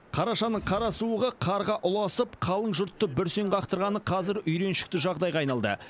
қарашаның қара суығы қарға ұласып қалың жұртты бүрсең қақтырғаны қазір үйреншікті жағдайға айналды